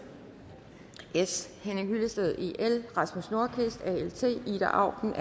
henning hyllested rasmus nordqvist ida auken